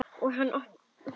Og hann í sjóinn.